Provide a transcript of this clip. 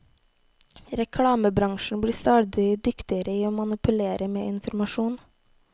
Reklamebransjen blir stadig dyktigere i å manipulere med informasjon.